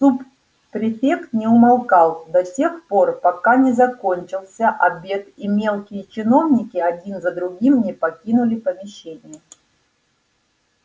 суб-префект не умолкал до тех пор пока не закончился обед и мелкие чиновники один за другим не покинули помещение